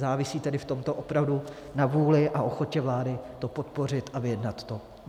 Závisí tedy v tomto opravdu na vůli a ochotě vlády to podpořit a vyjednat to.